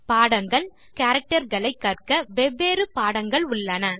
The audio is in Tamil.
பாடங்கள் - கேரக்டர் களை கற்க வெவ்வேறு பாடங்கள் உள்ளன